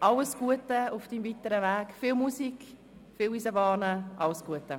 Alles Gute auf Ihrem weiteren Weg, viel Musik, viel Eisenbahnen und alles Gute!